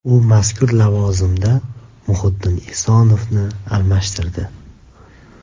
U mazkur lavozimda Muhiddin Esonovni almashtirdi.